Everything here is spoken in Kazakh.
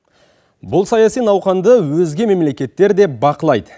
бұл саяси науқанды өзге мемлекеттер де бақылайды